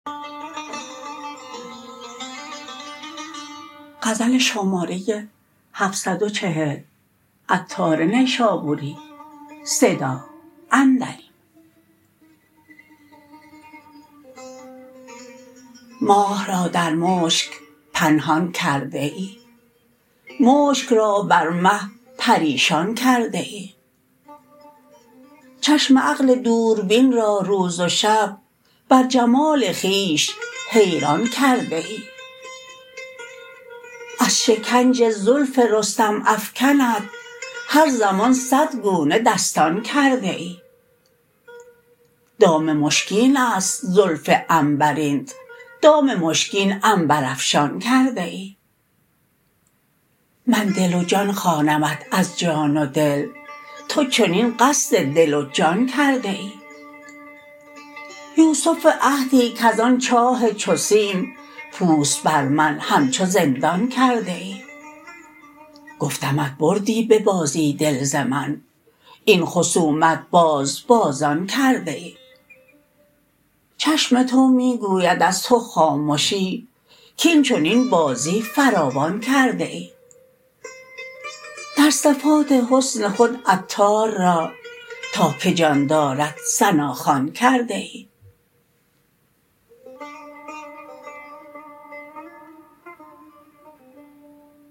ماه را در مشک پنهان کرده ای مشک را بر مه پریشان کرده ای چشم عقل دوربین را روز و شب بر جمال خویش حیران کرده ای از شکنج زلف رستم افکنت هر زمان صد گونه دستان کرده ای دام مشکین است زلف عنبرینت دام مشکین عنبر افشان کرده ای من دل و جان خوانمت از جان و دل تو چنین قصد دل و جان کرده ای یوسف عهدی کزان چاه چو سیم پوست بر من همچو زندان کرده ای گفتمت بردی به بازی دل ز من این خصومت باز بازان کرده ای چشم تو می گوید از تو خامشی کین چنین بازی فراوان کرده ای در صفات حسن خود عطار را تا که جان دارد ثناخوان کرده ای